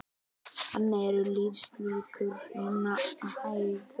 Þannig eru lífslíkur hinna hægfara minni